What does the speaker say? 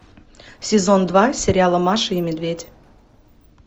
сезон два сериала маша и медведь